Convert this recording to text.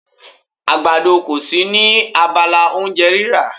Àgbàdo kò sí ní abala oúnjẹ rírà.